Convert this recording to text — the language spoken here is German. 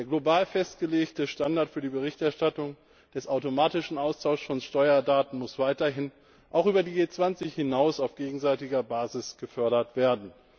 Der global festgelegte Standard für die Berichterstattung bezüglich des automatischen Austauschs von Steuerdaten muss weiterhin auch über die G20 hinaus auf gegenseitiger Basis gefördert werden.